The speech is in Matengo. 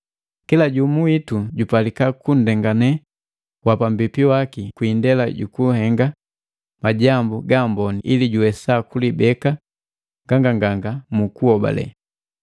Kila jumu witu jupalika kunndengane wa pambipi waki kwi indela jukuhenga majambu gaamboni ili juwesa kulibeka nganganganga mu kuhobale.